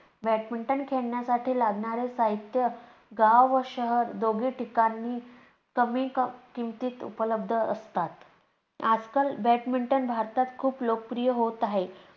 badminton खेळण्यासाठी लागणारे साहित्य गाव व शहर दोघी ठिकाणी कमी किमतीत उपलब्ध असतात. आजकाल badminton भारतात खूप लोकप्रिय होत आहे.